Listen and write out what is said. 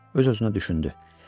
Öz-özünə düşündü: